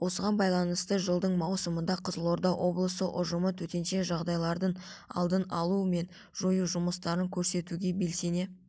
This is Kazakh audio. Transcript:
осыған байланысты жылдың маусымында қызылорда облысы ұжымы төтенше жағдайлардың алдын алу мен жою жұмыстарын көрсетуге белсене